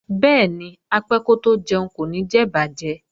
Bẹ́ẹ̀ni, apẹ́ kótó jẹun kò ní jẹ ìbàjẹ́